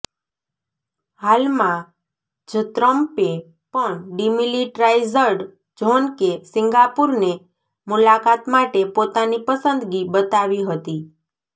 હાલમાં જ ટ્રમ્પે પણ ડિમિલિટ્રાઈઝ્ડ ઝોન કે સિંગાપુરને મુલાકાત માટે પોતાની પસંદગી બતાવી હતી